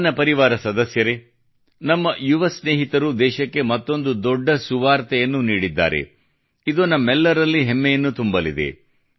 ನನ್ನ ಪರಿವಾರ ಸದಸ್ಯರೇ ನಮ್ಮ ಯುವ ಸ್ನೇಹಿತರು ದೇಶಕ್ಕೆ ಮತ್ತೊಂದು ದೊಡ್ಡ ಸುವಾರ್ತೆಯನ್ನು ನೀಡಿದ್ದಾರೆ ಇದು ನಮ್ಮೆಲ್ಲರಲ್ಲಿ ಹೆಮ್ಮೆಯನ್ನು ತುಂಬಲಿದೆ